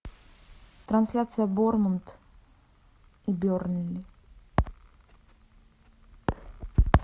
трансляция борнмут и бернли